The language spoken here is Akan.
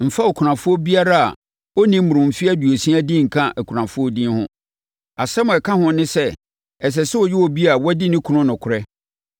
Mfa okunafoɔ biara a ɔnni mmoroo mfeɛ aduosia din nka akunafoɔ din ho. Asɛm a ɛka ho ne sɛ, ɛsɛ sɛ ɔyɛ obi a wadi ne kunu nokorɛ,